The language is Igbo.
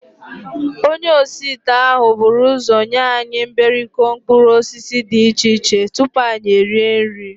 Onye osiite ahụ buru ụzọ nye anyị mberikọ mkpụrụosisi dị iche iche tupu anyị erie nri